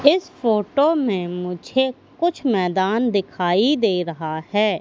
इस फोटो में मुझे कुछ मैदान दिखाई दे रहा है।